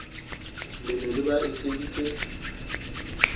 le ne le ba etseditse